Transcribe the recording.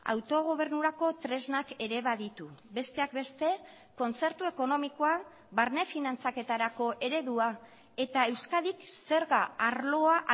autogobernurako tresnak ere baditu besteak beste kontzertu ekonomikoa barne finantzaketarako eredua eta euskadik zerga arloa